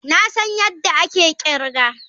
Na san yadda ake kirga.